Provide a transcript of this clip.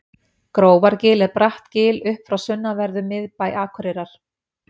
grófargil er bratt gil upp frá sunnanverðum miðbæ akureyrar